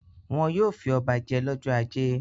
Wọn yóò fi ọba jẹ lọ́jọ́ ajé.